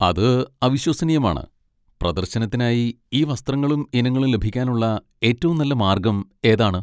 അത് അവിശ്വസനീയമാണ്. പ്രദർശനത്തിനായി ഈ വസ്ത്രങ്ങളും ഇനങ്ങളും ലഭിക്കാനുള്ള ഏറ്റവും നല്ല മാർഗ്ഗം ഏതാണ്?